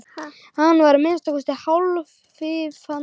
Hann var að minnsta kosti hálflifandi.